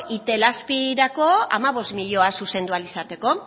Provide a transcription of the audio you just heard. itelazpirako hamabost milioi zuzendu ahal izateko